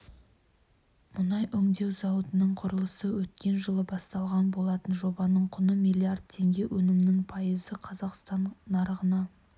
мұнай өңдеу зауытының құрылысы өткен жылы басталған болатын жобаның құны миллиард теңге өнімнің пайызы қазақстан нарығына